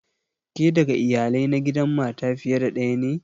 Ke daga Iyalai na gidan mata fiye da daya ne?